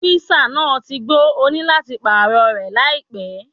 Skúísà náà ti gbó, òní láti pààrọ̀ rẹ̀ láìpẹ́.